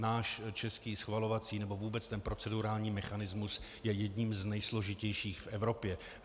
Náš český schvalovací nebo vůbec ten procedurální mechanismus je jedním z nejsložitějších v Evropě.